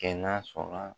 Kɛ na sɔnna